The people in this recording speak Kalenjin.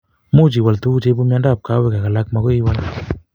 Muuch iwal tuguk cheipu miondop kawek ak alak makoi iwal